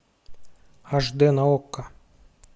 аш дэ на окко